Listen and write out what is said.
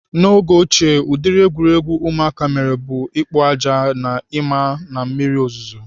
N'oge ochie ụdịrị egwuregwu ụmụaka mere bụ ikpo aja na ima na mmiri ozuzo.